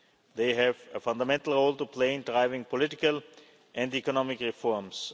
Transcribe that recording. country. They have a fundamental role to play in driving political and economic